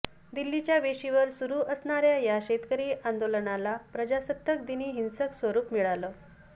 दिल्लीच्या वेशीवर सुरू असणाऱ्या या शेतकरी आंदोलनाला प्रजासत्ताक दिनी हिंसक स्वरूप मिळालं